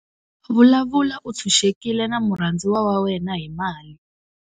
Vulavula u ntshuxekile na murhandziwa wa wena hi mali